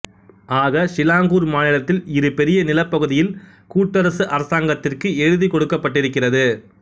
ஆக சிலாங்கூர் மாநிலத்தில் இரு பெரிய நிலப்பகுதிகள் கூட்டரசு அரசாங்கத்திற்கு எழுதிக் கொடுக்கப்பட்டிருக்கிறது